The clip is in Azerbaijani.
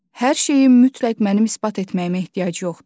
Hər şeyi mütləq mənim isbat etməyimə ehtiyac yoxdur.